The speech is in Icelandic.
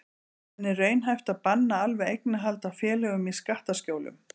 En er raunhæft að banna alveg eignarhald á félögum í skattaskjólum?